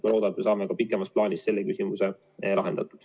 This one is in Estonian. Ma loodan, et me saame ka pikemas plaanis selle küsimuse lahendatud.